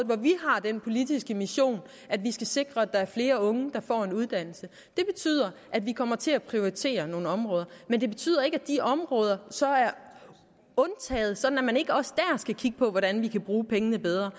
hvor vi har den politiske mission at vi skal sikre at der er flere unge der får en uddannelse det betyder at vi kommer til at prioritere nogle områder men det betyder ikke at de områder så er undtaget sådan at man ikke også der skal kigge på hvordan vi kan bruge pengene bedre